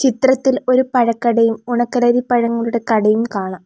ത്രത്തിൽ ഒരു പഴക്കടയും ഉണക്കലരി പഴങ്ങളുടെ കടയും കാണാം.